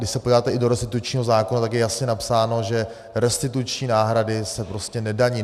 Když se podíváte i do restitučního zákona, tak je jasně napsáno, že restituční náhrady se prostě nedaní.